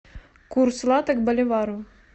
курс лата к боливару